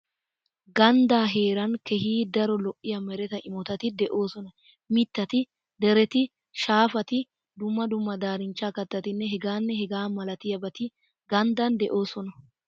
Ganddaa heeran keehi daro lo'iya meretaa immotati de"oosona. Mittati, dereti, Shaafati, dumma dumma daarinchcha kattatinne hegaanne hegaa milatiyabati ganddan de"oosona.